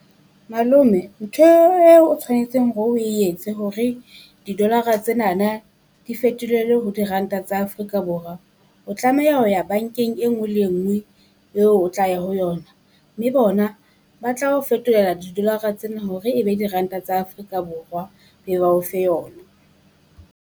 Malome ntho eo eo tshwanetseng hore o e etse hore di-dollar-ra tsenana di fetolele ho diranta tsa Afrika Borwa, o tlameha ho ya bankeng e nngwe le enngwe eo o tla ya ho yona. Mme bona ba tla ho fetolela di-dollar-ra tsena hore e be diranta tsa Afrika Borwa be ba o fe yona.